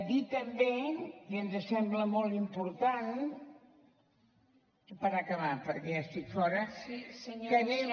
dir també i ens sembla molt important per acabar perquè ja estic fora que anem